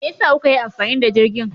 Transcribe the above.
Me yasa kuka yi amfani da jirgin?